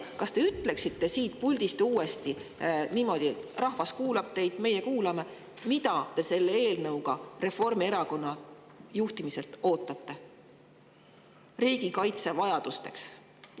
Kas te ütleksite siit puldist uuesti – rahvas kuulab teid, meie kuulame –, mida te selle eelnõuga Reformierakonna juhtimiselt riigikaitse vajadusteks ootate?